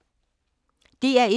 DR1